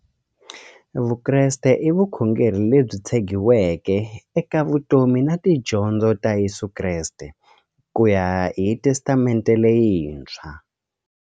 Vukreste i vukhongeri lebyi tshegiweke eka vutomi na tidyondzo ta Yesu Kreste kuya hi Testamente leyintshwa.